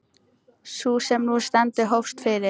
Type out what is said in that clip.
Sú sem nú stendur hófst fyrir